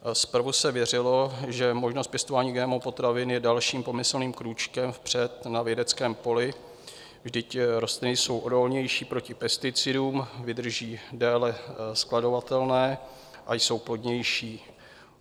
Zprvu se věřilo, že možnost pěstování GMO potravin je dalším pomyslným krůčkem vpřed na vědeckém poli, vždyť rostliny jsou odolnější proti pesticidům, vydrží déle skladovatelné a jsou plodnější.